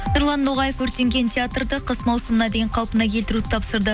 нұрлан ноғаев өртенген театрды қыс маусымына дейін қалпына келтіруді тапсырды